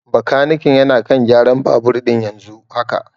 Bakaniken yana kan gyaran babur ɗin yanzu haka.